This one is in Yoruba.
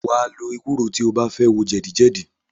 Wàá lo ewúro tí o bá fẹ́ wo jẹ̀dí jẹ̀dí